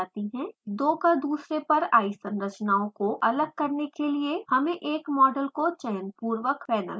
दो क दुसरे पर आई संरचनाओं को अलग करने के लिए: हमें एक मॉडल को चयनपुर्वक पैनल पर लाना होता है